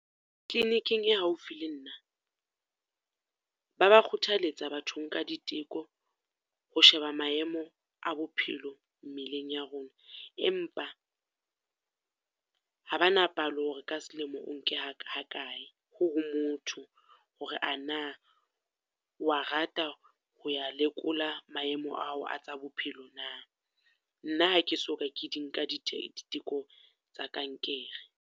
Kliniking e haufi le nna, ba ba kgothaletsa batho nka diteko, ho sheba maemo a bophelo mmeleng ya rona. Empa ha ba na palo hore ka selemo o nke ha ha kae ho ho motho, hore ana o wa rata ho ya lekola maemo ao a tsa bophelo na? Nna ha ke so ka ke di nka di di teko tsa kankere.